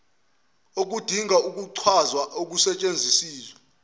okudinga ukuchazwa okusetshenzisiwe